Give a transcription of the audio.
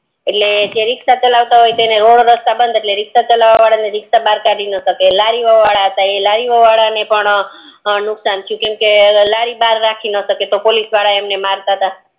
એટલે જે રિક્ષા ચલાવતા હોય ઈ રોડ રસ્તા બંધ એટલે રિક્ષા ચાલવા વદ ને રિક્ષા બાર કાઢી ના સકે લડી વડા હતા ઈ લાદી વડા ને પણ નુકશાન થયું કેમકે લારી બાર નો રાખી સકે કેમકે ઓલ પોલીસ વદ એમને મારતા